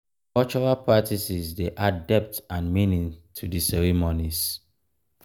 cultural practices dey add depth and meaning to the ceremonies.